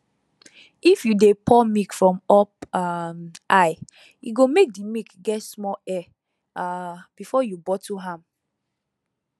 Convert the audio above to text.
if you de pour milk from up um high e go make the milk get small air um before you bottle am